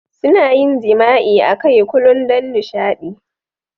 Suna yin jima'i akai Kulun don nishaɗi.